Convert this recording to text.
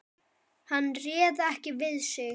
Hann réð ekki við sig.